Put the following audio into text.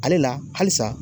Ale la halisa